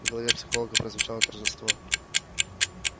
в голосе психолога прозвучало торжество